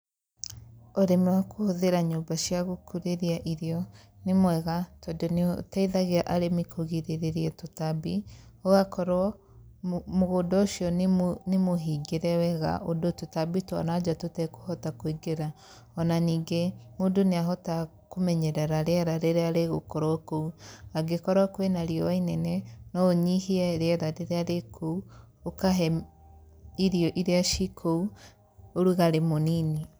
Ũrĩmi wa kũhũthĩra nyũmba cia gũkũrĩria irio nĩ mwega tondũ nĩ ũteithagia arĩmi kũrigĩrĩria tũtambi ũgakorwo mũgũnda ũcio nĩ mũhingĩre wega ũndũ tũtambi twananja tũtekũhota kũingĩra, ona ningĩ mũndũ nĩahotaga kũmenyerera rĩera rĩrĩa rĩgũkorwo kũu. Angĩkorwo kwĩna riũa ĩnene, no ũnyihie rĩera rĩrĩa rĩ kũu, ũkahe irĩo irĩa ci kũu ũrugarĩ mũnini.